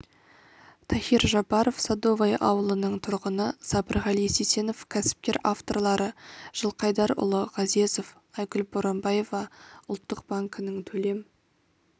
тахир жабаров садовое ауылының тұрғыны сабырғали сисенов кәсіпкер авторлары жылқайдарұлы ғазезов айгүл боранбаева ұлттық банкінің төлем